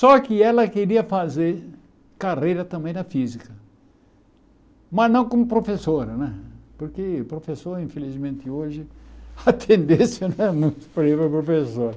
Só que ela queria fazer carreira também na física, mas não como professora né, porque professor, infelizmente, hoje, a tendência não é muito para ir para professor.